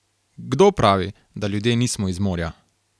Kdo pravi, da ljudje nismo iz morja?